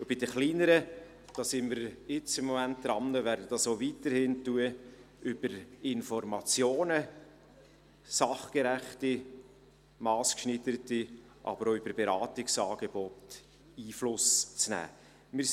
Bei den kleineren sind wir im Moment daran – und werden dies auch weiterhin tun –, über sachgerechte, massgeschneiderte Information, aber auch über Beratungsangebote Einfluss zu nehmen.